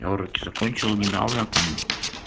я уроки закончил недавно там